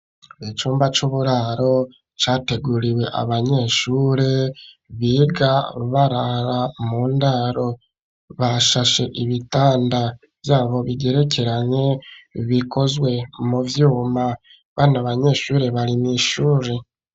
Icumba c'uburaro categuriwe abanyeshure biga barara mu ndaro bashashe ibitanda vyabo bigerekeranye bikozwe mu vyuma bana abanyeshure bari m'ishure.